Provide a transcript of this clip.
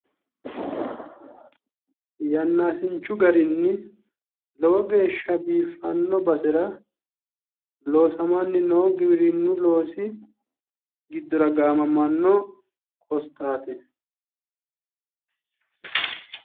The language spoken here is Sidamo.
Yannaaasinchu garinni lowo geeshsha biiffanno basera loosamanni noo giwirinnu loosi giddora gaamamanno qosxaati